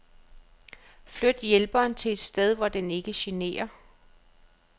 Flyt hjælperen til et sted hvor den ikke generer.